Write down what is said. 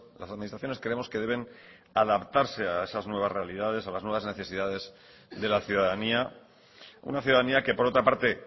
las administraciones creemos que deben adaptarse a esas nuevas realidades a las nuevas necesidades de la ciudadanía una ciudadanía que por otra parte